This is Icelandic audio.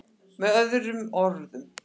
Með öðrum orðum.